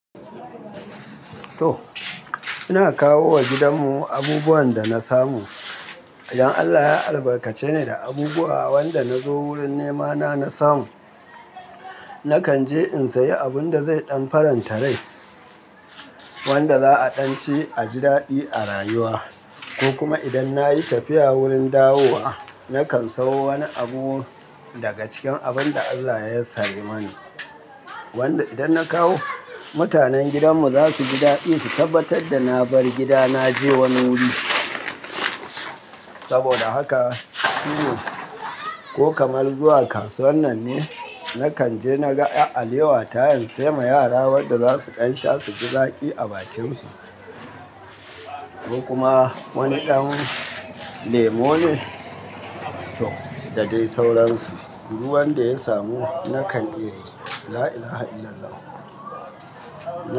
To ina kawo wa gidan mu abubuwan da na samu. Idan Allah ya albarkace ni da abubuwa wanda na zo wurin nemana na samu, na kan je in sayi abun da zai ɗan faranta rai wanda za' a ɗan ci a ji daɗi a rayuwa. Ko kuma idan na yi tafiya wurin dawowa, na kan sayo wani abu daga cikin abin da Allah ya yassari mani wanda idan na kawo, mutanen gidan mu za su ji daɗi su tabbatar da na bar gida na je wani wuri. Saboda haka shi ne ko kamar zuwa kasuwan nan ne, na kan je na ga 'yar alewa ta in sai ma yara wanda za su ɗan sha su ji zaƙi a bakinsu. Ko kuma wani ɗan lemo ne da dai sauransu. Duk wan da ya samu na kan iyaye. La ila ha illallah.